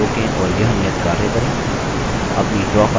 इस tutorial को रोकें और यह नियतकार्य करें